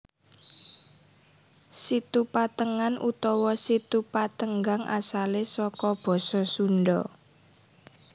Situ Patengan utawa Situ Patenggang asale saka basa Sunda